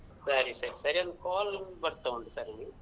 ಸರಿ ಸರಿ ಸರಿ ಒಂದು call ಬರ್ತಾ ಉಂಟು ಸರಿ.